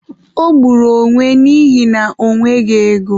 O gburu onwe n'ihina ọ nweghị ego.